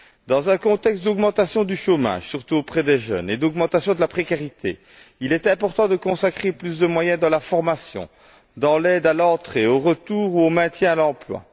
Dans un contexte d'augmentation du chômage, surtout auprès des jeunes, et d'augmentation de la précarité, il est important de consacrer plus de moyens à la formation, à l'aide à l'entrée, au retour ou au maintien dans l'emploi.